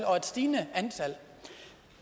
og stigende antal